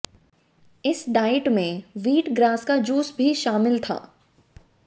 इस डाइट में wheat grass का जूस भी शामिल था